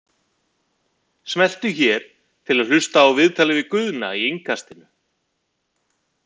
Smelltu hér til að hlusta á viðtalið við Guðna í Innkastinu